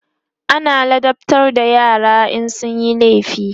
ana ladabtar da yara in sunyi laifi